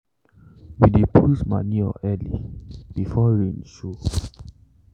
we dey put manure early before rain show.